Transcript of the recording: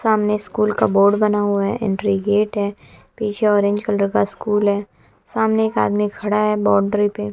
सामने स्कूल का बोर्ड बना हुआ है एंट्री गेट है पीछे ऑरेंज कलर का स्कूल है सामने एक आदमी खड़ा है बॉन्डरी पे।